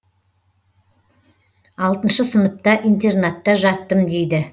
алтыншы сыныпта интернатта жаттым дейді